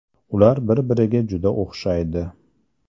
Ular bir-biriga juda o‘xshaydi.